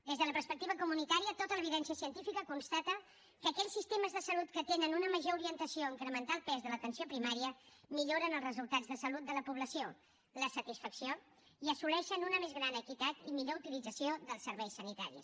des de la perspectiva comunitària tota l’evidència científica constata que aquells sistemes de salut que tenen una major orientació a incrementar el pes de l’atenció primària milloren els resultats de salut de la població la satisfacció i assoleixen una més gran equitat i millor utilització dels serveis sanitaris